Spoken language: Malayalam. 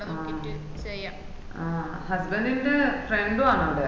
ആഹ് husband ന്റെ friend ആണ്അടെ